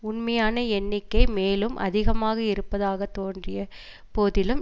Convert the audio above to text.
உண்மையான எண்ணிக்கை மேலும் அதிகமாக இருப்பதாக தோன்றிய போதிலும்